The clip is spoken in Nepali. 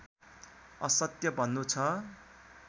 असत्य भन्नु छ